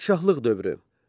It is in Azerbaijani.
Padşahlıq dövrü.